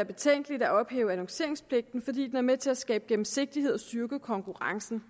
er betænkeligt at ophæve annonceringspligten fordi den er med til at skabe gennemsigtighed og styrke konkurrencen